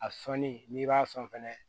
A sɔnni n'i b'a sɔn fɛnɛ